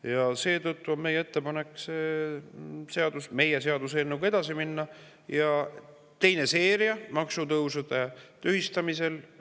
Ja seetõttu on meie ettepanek meie seaduseelnõuga edasi minna – teine maksutõusude tühistamiseks.